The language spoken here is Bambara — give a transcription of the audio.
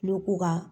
N'u ko ka